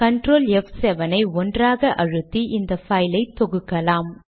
control ப்7 ஐ ஒன்றாக அழுத்தி இந்த பைலை தொகுக்கலாம்